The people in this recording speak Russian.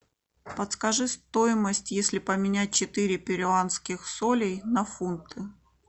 подскажи стоимость если поменять четыре перуанских солей на фунты